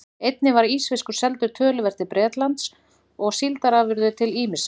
Einnig var ísfiskur seldur töluvert til Bretlands og síldarafurðir til ýmissa